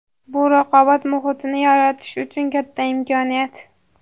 Bu raqobat muhitini yaratish uchun katta imkoniyat.